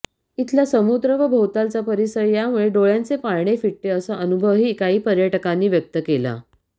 इथला समुद्र व भोवतालचा परिसर यामुळे डोळ्यांचे पारणे फिटते असा अनुभवही काही पर्यटकांनी व्यक्त केला